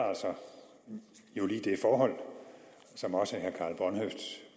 jo altså lige det forhold som også herre